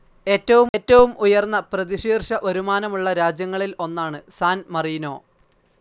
ഏറ്റവും ഉയർന്ന പ്രതിശീർഷ വരുമാനമുള്ള രാജ്യങ്ങളിൽ ഒന്നാണ് സാൻ മറീനോ.